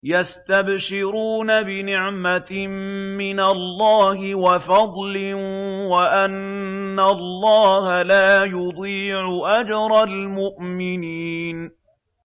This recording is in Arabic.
۞ يَسْتَبْشِرُونَ بِنِعْمَةٍ مِّنَ اللَّهِ وَفَضْلٍ وَأَنَّ اللَّهَ لَا يُضِيعُ أَجْرَ الْمُؤْمِنِينَ